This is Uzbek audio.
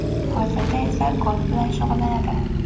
Hozirda esa golf bilan shug‘ullanadi .